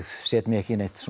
set mig ekki í neitt